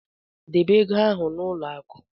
Debe ego ahụ n'ụlọ akụ.